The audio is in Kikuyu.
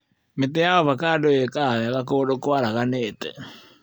Mĩtĩ ya ovacando ĩkaga wega kũndũ kwaraganĩte.